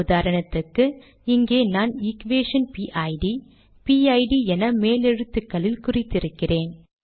உதாரணத்துக்கு இங்கே நான் எக்வேஷன் பிட் பிட் என மேலெழுத்துகளில் குறித்திருக்கிறேன்